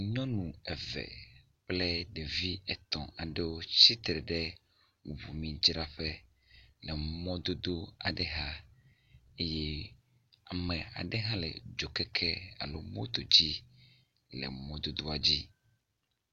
Nyɔnu eve kple ɖevi etɔ̃ɖewo tsitre ɖe ʋumidzraƒe le mɔdodo aɖe xa eye ame aɖe hã le dzokeke alo moto dzi le mɔdodoa dzi.